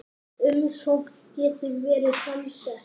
Umsögn getur verið samsett